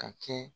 Ka kɛ